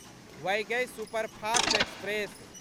Vaigai superfast express